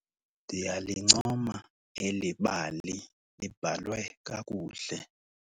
Ndiyalincoma eli bali libhalwe kakuhle.